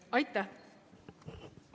Aitäh!